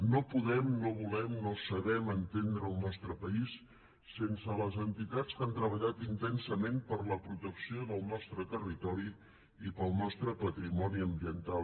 no podem no volem no sabem entendre el nostre país sense les entitats que han treballat intensament per la protecció del nostre territori i pel nostre patrimoni ambiental